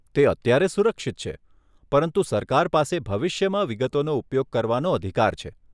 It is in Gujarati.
તે અત્યારે સુરક્ષિત છે, પરંતુ સરકાર પાસે ભવિષ્યમાં વિગતોનો ઉપયોગ કરવાનો અધિકાર છે.